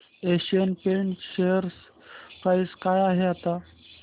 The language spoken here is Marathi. एशियन पेंट्स शेअर प्राइस काय आहे आता